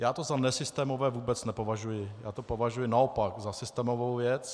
Já to za nesystémové vůbec nepovažuji, já to považuji naopak za systémovou věc.